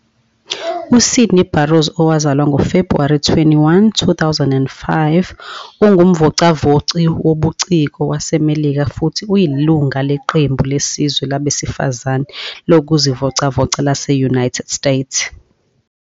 USydney Barros, owazalwa ngoFebhuwari 21, 2005, ungumvocavoci wobuciko waseMelika futhi uyilungu leqembu lesizwe labesifazane lokuzivocavoca lase -United States.